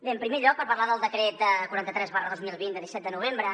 bé en primer lloc parlar del decret quaranta tres dos mil vint de disset de novembre